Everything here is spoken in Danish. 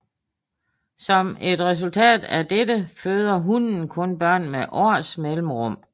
Som et resultat af dette føder hunnen kun børn med års mellemrum